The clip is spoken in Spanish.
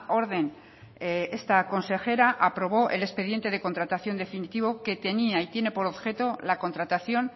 orden esta consejera aprobó el expediente de contratación definitivo que tenía y tiene por objeto la contratación